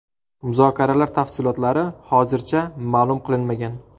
Muzokaralar tafsilotlari hozircha ma’lum qilinmagan.